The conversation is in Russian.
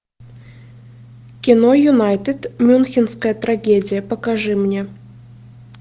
кино юнайтед мюнхенская трагедия покажи мне